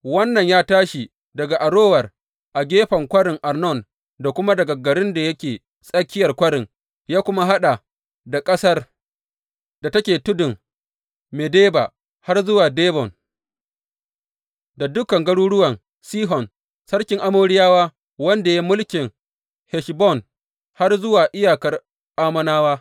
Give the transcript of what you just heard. Wannan ya tashi daga Arower a gefen kwarin Arnon, da kuma daga garin da yake tsakiyar kwarin, ya kuma haɗa da ƙasar da take tudun Medeba har zuwa Dibon, da dukan garuruwan Sihon sarkin Amoriyawa, wanda ya yi mulkin Heshbon, har zuwa iyakar Ammonawa.